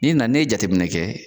N'i na n'i ye jateminɛ kɛ